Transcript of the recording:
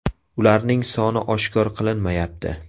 Ularning soni oshkor qilinmayapti.